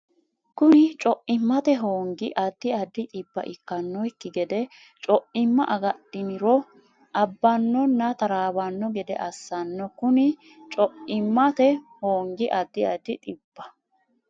Kuni Co immate hoongi addi addi dhibba ikkannokki gede co imma agadhiniro abbannonna taraawanno gede assanno Kuni Co immate hoongi addi addi dhibba.